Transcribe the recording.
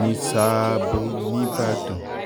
ní sààbọ̀ nìbàdàn